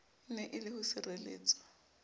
ene e le ho sireletswa